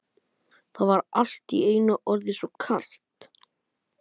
Það var allt í einu orðið svo kalt.